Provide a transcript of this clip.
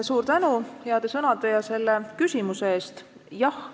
Suur tänu heade sõnade ja selle küsimuse eest!